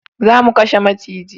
Za mu kashe maciji